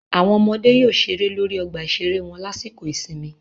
Àwọn ọmọdé yóò ṣeré lórí ọgbà ìṣeré wọn lásìkò ìsinmi